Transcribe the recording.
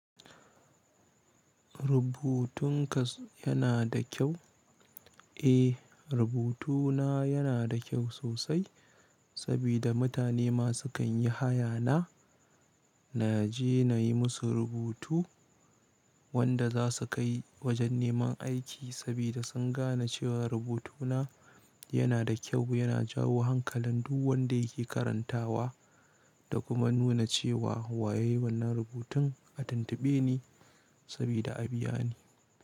Rubutun ka yana da kyau? Eh, rubutuna yana da kyau sosai, sabida mutane masu kan yi haya na, na je na yi musu rubutu wanda za su kai wajen neman aiki sabida sun gane cewa rubutuna yana da kyau, yana jawo hankalin duk wanda yake karantawa. Da kuma nuna cewa, wa yayi wannan rubutun a tuntuɓe ni sabida a biya ni.